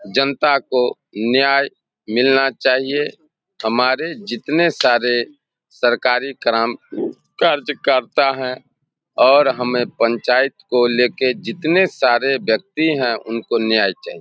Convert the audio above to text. जनता को न्याय मिलना चाहिए। हमारे जितने सारे सरकारी क्रम काजकरता हैं और हमें पंचायत को लेके जितने सारे व्यक्ति हैं उनको न्याय चाहिए।